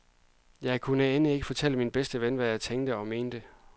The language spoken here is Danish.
Jeg kunne end ikke fortælle min bedste ven, hvad jeg tænkte og mente.